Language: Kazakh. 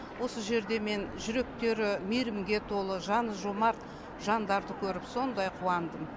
осы жерде мен жүректері мейірімге толы жаны жомарт жандарды көріп сондай қуандым